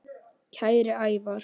Kæri Ævar.